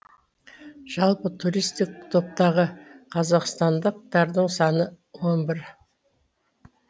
жалпы туристік топтағы қазақстандықтардың саны он бір